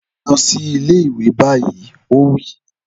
Lọ sí ilé ìwé báyìí! Ó wí.